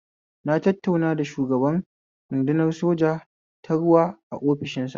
Na tattauna da shugaban rudunar soja ta ruwa a ofishinsa